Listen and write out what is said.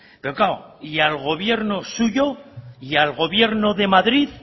pero claro y al gobierno suyo y al gobierno de madrid